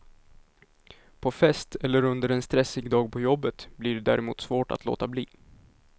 På fest eller under en stressig dag på jobbet blir det där emot svårt att låta bli.